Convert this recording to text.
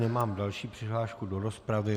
Nemám další přihlášku do rozpravy.